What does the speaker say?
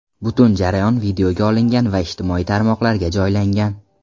Butun jarayon videoga olingan va ijtimoiy tarmoqlarga joylangan.